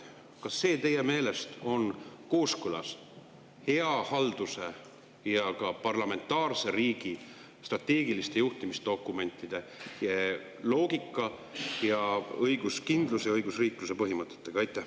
Kas see on teie meelest kooskõlas hea halduse, parlamentaarse riigi strateegiliste juhtimisdokumentide loogika ning õiguskindluse ja õigusriikluse põhimõtetega?